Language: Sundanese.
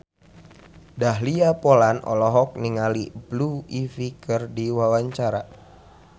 Dahlia Poland olohok ningali Blue Ivy keur diwawancara